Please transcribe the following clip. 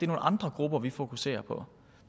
nogle andre grupper vi fokuserer på